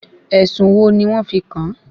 Ẹ̀sùn wo ni wọ́n fi kàn-án?